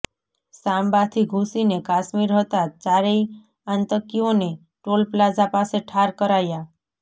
સાંબાથી ધુસીને કાશ્મીર હતા ચારેય આતંકીઓને ટોલપ્લાઝા પાસે ઠાર કરાયા